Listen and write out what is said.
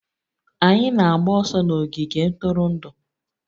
Anyị na-agba ọsọ n'ogige ntụrụndụ.